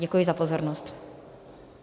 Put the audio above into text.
Děkuji za pozornost.